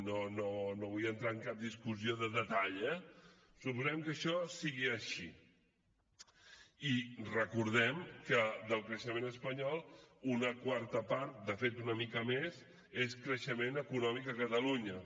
i no vull entrar en cap discussió de detall eh suposem que això sigui així i recordem que del creixement espanyol una quarta part de fet una mica més és creixement econòmic a catalunya